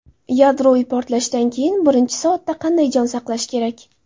Yadroviy portlashdan keyingi birinchi soatda qanday jon saqlash kerak?.